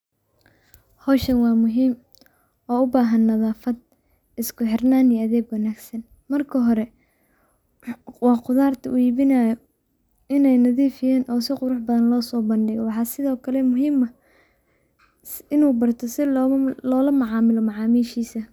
Hoshan wa muhim oo ubahan nadafat isku xirnan iyo adeg wanagsan marka hore wa qudarta u ibinayo inay nadif yihin oo si qurax badan lo so bango ,wxa sithi o kale muhim ah inu barto si lolamacamilo macamishisa.